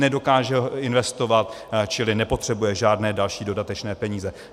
Nedokáže investovat, čili nepotřebuje žádné další, dodatečné peníze.